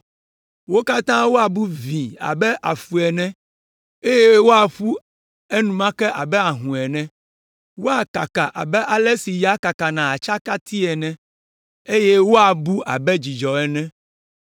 Wo katã woabu vĩi abe afu ene, eye woaƒu enumake abe ahũ ene; woakaka abe ale si ya kakana atsakiti ene, eye woabu abe dzudzɔ ene.